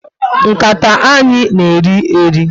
Nkata anyị na eri eri